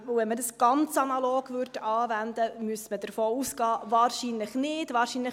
Wenn man das ganz analog anwenden würde, müsste man davon ausgehen, dass es das wahrscheinlich nicht ist.